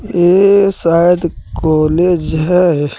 ये शायद कॉलेज है।